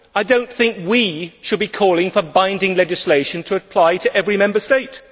I do not think we should be calling for binding legislation to apply to every Member State.